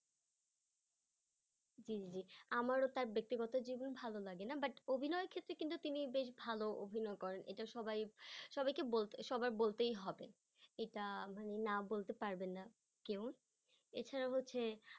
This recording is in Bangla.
জি জি আমারও তার ব্যক্তিগত জীবন ভালো লাগেনা but অভিনয় ক্ষেত্রে কিন্তু তিনি বেশ ভালো অভিনয় করেন সেটা সবাই সবাইকে বলতে সবার বলতেই হবে সেটা মানে না বলতে পারবেন না কেউ এছাড়াও হচ্ছে